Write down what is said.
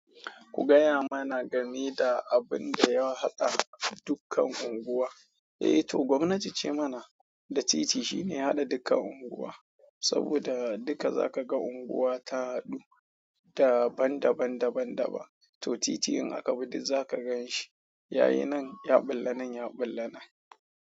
Ku gaya mana game da abun da ya haɗa dukkan unguwa. Eh to gwamnati ce mana da titi, shine ya haɗa dukkan unguwa, saboda duka zakaga unguwa ta haɗu, daban daban daban daban, to titi in akabi duk zaka ganshi yayi nan, ya ɓulla nan, ya ɓulla nan.